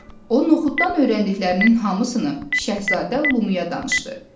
O noxuddan öyrəndiklərinin hamısını Şəhzadə Lumuyaya danışdı.